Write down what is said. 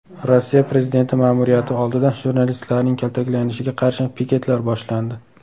Rossiya prezidenti ma’muriyati oldida jurnalistlarning kaltaklanishiga qarshi piketlar boshlandi.